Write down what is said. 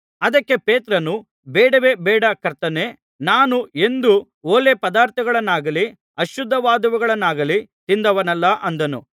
ಅದಕ್ಕೆ ಪೇತ್ರನು ಬೇಡವೇ ಬೇಡ ಕರ್ತನೇ ನಾನು ಎಂದೂ ಹೊಲೆ ಪದಾರ್ಥವನ್ನಾಗಲಿ ಅಶುದ್ಧವಾದವುಗಳನ್ನಾಗಲಿ ತಿಂದವನಲ್ಲ ಅಂದನು